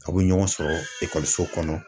Aw bɛ ɲɔgɔn sɔrɔ ekɔliso kɔnɔ